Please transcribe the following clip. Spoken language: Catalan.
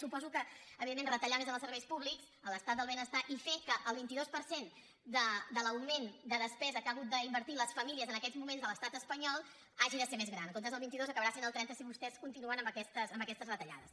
suposo que evidentment retallar més en els serveis públics en l’estat del benestar i fer que el vint dos per cent de l’augment de despesa que han hagut d’invertir les famílies en aquests moments a l’estat espanyol hagi de ser més gran en comptes del vint dos acabarà sent el trenta si vostès continuen amb aquestes retallades